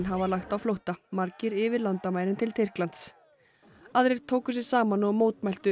hafa lagt á flótta margir yfir landamærin til Tyrklands aðrir tóku sig saman og mótmæltu